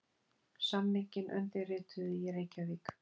Samninginn undirrituðu í Reykjavík